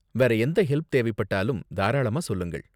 வேற எந்த ஹெல்ப் தேவைப்பட்டாலும் தாராளமா சொல்லுங்கள்.